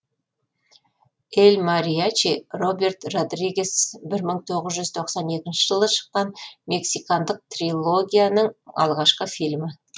эль мариачи роберт родригес бір мың тоғыз жүз тоқсан екінші жылы шыққан мексикандық трилогияның алғашқы фильмі